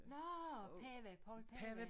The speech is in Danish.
Nårh Pava Poul Pava